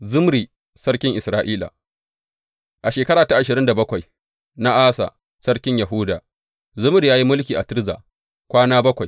Zimri sarkin Isra’ila A shekara ta ashirin da bakwai na Asa sarkin Yahuda, Zimri ya yi mulki a Tirza kwana bakwai.